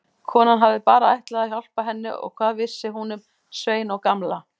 Konan hafði bara ætlað að hjálpa henni og hvað vissi hún um Svein og Gamla.